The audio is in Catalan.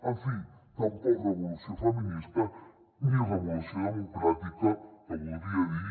en fi tampoc revolució feminista ni revolució democràtica que voldria dir